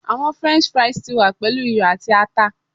Awọn french fries ti wa pelu iyọ ati ata